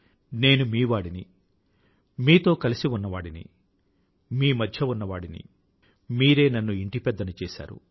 నేను మీ వాడిని మీతో కలిసి ఉన్నవాడిని మీ మధ్య ఉన్నవాడిని మీరే నన్ను ఇంటిపెద్దను చేసారు